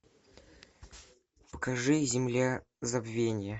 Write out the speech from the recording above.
покажи земля забвения